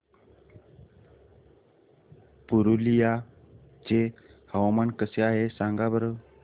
पुरुलिया चे हवामान कसे आहे सांगा बरं